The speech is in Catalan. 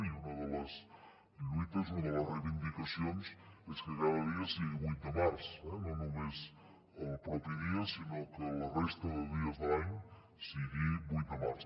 i una de les lluites una de les reivindicacions és que cada dia sigui vuit de març eh no només el propi dia sinó que la resta de dies de l’any sigui vuit de març